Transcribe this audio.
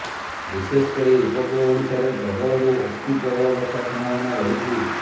ବିଶେଷକରି ଉପକୂଳ ଓଡ଼ିଶାରେ ପ୍ରବଳରୁ ଅତି ପ୍ରବଳ ବର୍ଷା ସମ୍ଭାବନା ରହିଛି